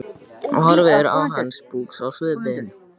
Horfir á hann sposk á svipinn.